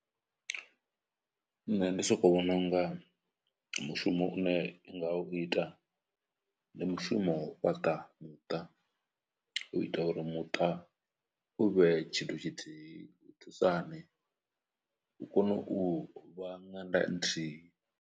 Nṋe ndi soko vhona unga mushumo une i nga u ita ndi mushumo wa u fhaṱa muṱa u ita uri muṱa u vhe tshithu tshithihi u thusa hani u kone u vha ṅanda nthihi.